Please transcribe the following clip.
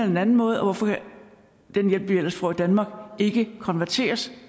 den anden måde og hvorfor kan den hjælp man ellers får i danmark ikke konverteres